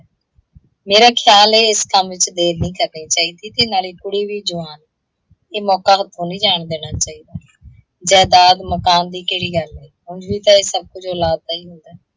ਮੇਰਾ ਖਿਆਲ ਹੈ ਇਸ ਕੰਮ ਚ ਦੇਰ ਨਹੀਂ ਕਰਨੀ ਚਾਹੀਦੀ ਤੇ ਨਾਲੇ ਕੁੜੀ ਵੀ ਜਵਾਨ ਹੈ। ਇਹ ਮੌਕਾ ਹੱਥੋਂ ਨਹੀਂ ਜਾਣ ਦੇਣਾ ਚਾਹੀਦਾ। ਜਾਇਦਾਦ ਮਕਾਨ ਦੀ ਕਿਹੜੀ ਗੱਲ ਹੈ, ਉੰਜ ਵੀ ਤਾਂ ਇਹ ਸਭ ਕੁੱਝ ਔਲਾਦ ਦਾ ਹੀ ਹੁੰਦਾ ਹੈ।